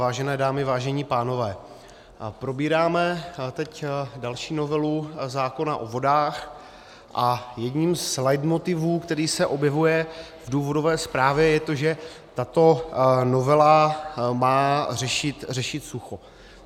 Vážené dámy, vážení pánové, probíráme teď další novelu zákona o vodách a jedním z leitmotivů, který se objevuje v důvodové zprávě, je to, že tato novela má řešit sucho.